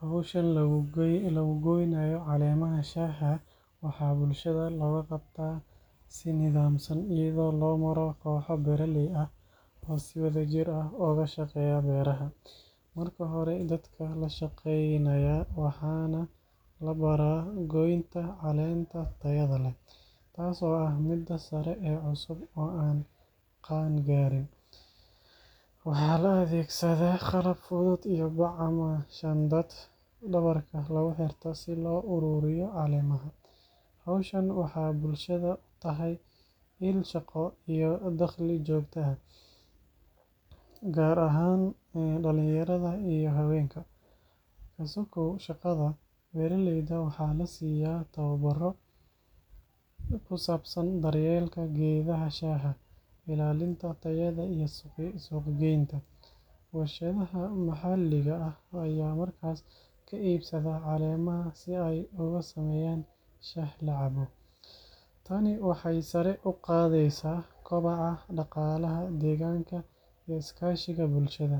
Hiwshan lagu goynayo calemaha shaha waxaa bulshaada loga qabtaa si nidhamsan oo si wadha jir ah oga shaqeyo beeraha, marka hore dadka lashaqeynayo waxan labara goynta calenta beerta tas oo ah miid tayo leh, waxaa la adhegsada qalab fudud, howshan waxee bulshaada utahay daqli iyo shaqo jogto ah, tani waxee sari u qadheysa qobciga bulshaada,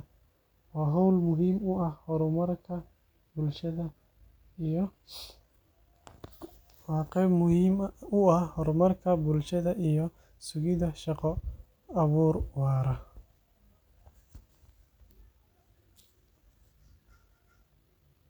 shaqo abuur wara.